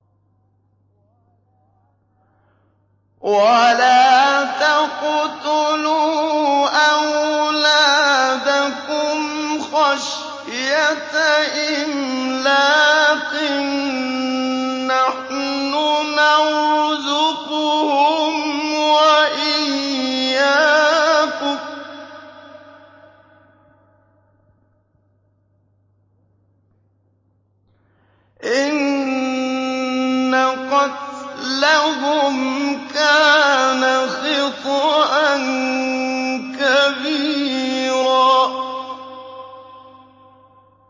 وَلَا تَقْتُلُوا أَوْلَادَكُمْ خَشْيَةَ إِمْلَاقٍ ۖ نَّحْنُ نَرْزُقُهُمْ وَإِيَّاكُمْ ۚ إِنَّ قَتْلَهُمْ كَانَ خِطْئًا كَبِيرًا